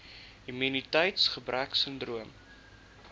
immuniteits gebrek sindroom